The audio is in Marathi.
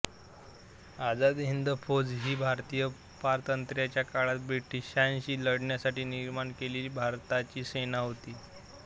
आझाद हिंद फौज ही भारतीय पारतंत्र्याच्या काळात ब्रिटिशांशी लढण्यासाठी निर्माण केलेली भारताची सेना होती